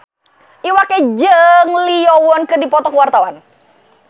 Iwa K jeung Lee Yo Won keur dipoto ku wartawan